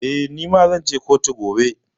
Eh, ni ma zan je kotu gobe.